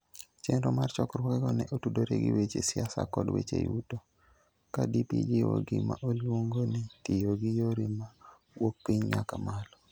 Chenro mar chokruogego ne otudore gi weche siasa kod weche yuto, ka DP jiwo gima oluongo ni "tiyo gi yore ma wuok piny nyaka malo".